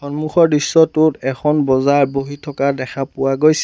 সন্মুখৰ দৃশ্যটোত এখন বজাৰ বহি থকা দেখা পোৱা গৈছে।